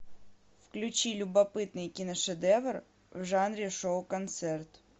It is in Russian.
включи любопытный киношедевр в жанре шоу концерт